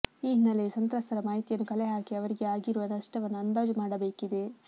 ಈ ಹಿನ್ನೆಲೆಯಲ್ಲಿ ಸಂತ್ರಸ್ತರ ಮಾಹಿತಿಯನ್ನು ಕಲೆ ಹಾಕಿ ಅವರಿಗೆ ಆಗಿರುವ ನಷ್ಟವನ್ನು ಅಂದಾಜು ಮಾಡಬೇಕಿದೆ